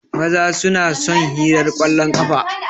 Maza su na son hirar kwallon ƙafa.